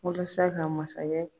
Walasa ka masakɛ